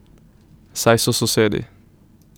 Saj so sosedi.